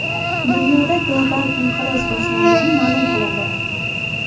Dunyoda global inqiroz boshlangani ma’lum qilindi.